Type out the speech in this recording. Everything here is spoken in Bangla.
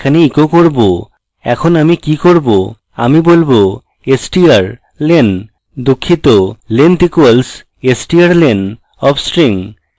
এখন আমি কি করব আমি বলব strlen দুঃখিত length equals strlen of string